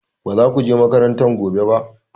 Ba za ku je makaranta gobe ba!